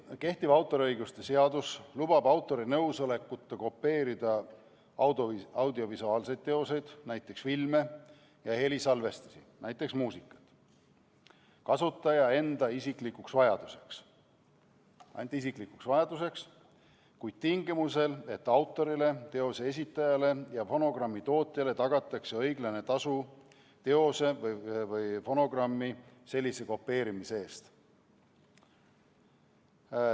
Kehtiv autoriõiguse seadus lubab autori nõusolekuta kopeerida audiovisuaalseid teoseid, näiteks filme, ja helisalvestisi, näiteks muusikat, ainult kasutaja enda isiklikuks vajaduseks, kuid tingimusel, et autorile, teose esitajale ja fonogrammitootjale tagatakse õiglane tasu teose või fonogrammi sellise kopeerimise eest.